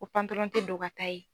Ko pantalɔn tɛ don ka taa yen.